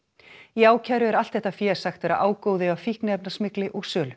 í ákæru er allt þetta fé sagt vera ágóði af fíkniefnasmygli og sölu